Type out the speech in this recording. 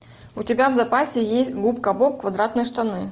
у тебя в запасе есть губка боб квадратные штаны